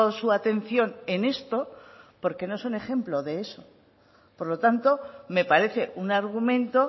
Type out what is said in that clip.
su atención en esto porque no es un ejemplo de eso por lo tanto me parece un argumento